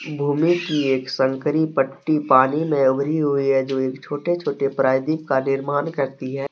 भूमि की एक संकरी पट्टी पानी में उभरी हुई है। जो एक छोटे छोटे प्रायदीप का निर्माण करती है